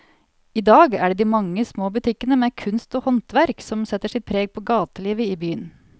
I dag er det de mange små butikkene med kunst og håndverk som setter sitt preg på gatelivet i byen.